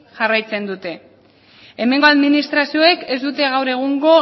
jarraitzen dute hemengo administrazioek ez dute gaur egungo